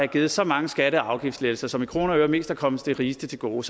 givet så mange skatte og afgiftslettelser som i kroner og øre mest er kommet de rigeste til gode